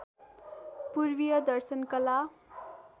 पूर्वीय दर्शन कला